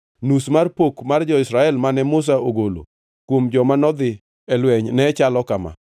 Nus mar pok mar jo-Israel mane Musa ogolo kuom joma nodhi e lweny ne chalo kama: